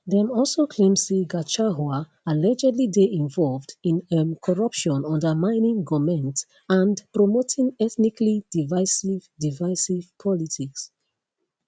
dem also claim say gachahua allegedly dey involved in um corruption undermining goment and promoting ethnically divisive divisive politics